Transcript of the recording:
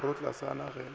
khirotlasana ga e sa le